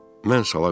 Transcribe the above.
Mən sala qayıtdım.